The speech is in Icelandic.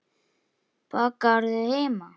Bakarðu heima?